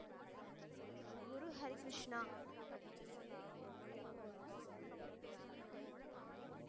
Guru Harikrishna.